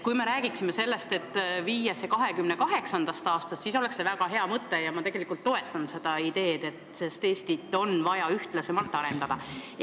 Kui me räägiksime sellest, et viia muudatus ellu 2028. aastast, siis oleks see väga hea mõte ja ma toetan seda, sest Eestit on vaja ühtlasemalt arendada.